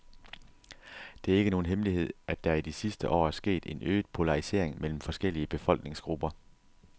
Det er ikke nogen hemmelighed, at der i de sidste år er sket en øget polarisering mellem forskellige befolkningsgrupper.